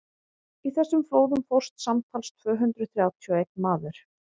í þessum flóðum fórst samtals tvö hundruð þrjátíu og einn maður